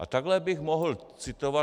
A takhle bych mohl citovat.